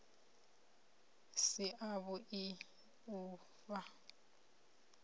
si a vhui u fhaa